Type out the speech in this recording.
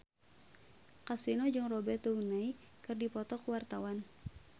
Kasino jeung Robert Downey keur dipoto ku wartawan